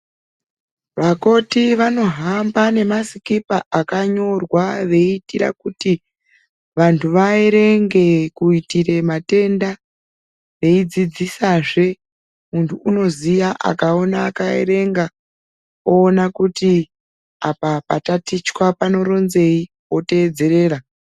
Vakoti vanohamba nemasikipa akanyorwa veiitire kuti vantu vaerenge kuitire matenda eidzidzisazve muntu unoziya akaona akaerenga oona kuti apa patatichwa panoronzei woteedzerera.